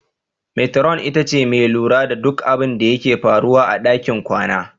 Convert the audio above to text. Metiron ita ce mai lura da duk abinda ke faruwa a ɗakin kwana.